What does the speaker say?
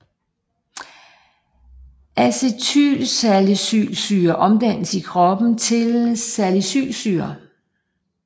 Acetylsalicylsyre omdannes i kroppen til salicylsyre